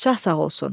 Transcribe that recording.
Şah sağ olsun.